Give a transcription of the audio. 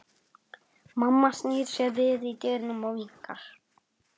Mamma snýr sér við í dyrunum og vinkar.